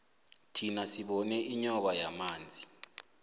thina sibone inyoka yamanzi